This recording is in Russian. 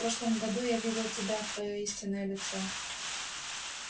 в прошлом году я видел тебя твоё истинное лицо